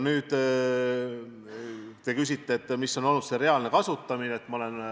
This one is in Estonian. Te küsite, milline on olnud raha reaalne kasutamine.